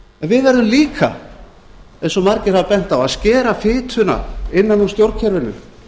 við verðum líka eins og margir hafa bent á að að skera fituna innan úr stjórnkerfinu